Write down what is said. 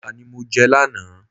Àmàlà ní mọ je lánàá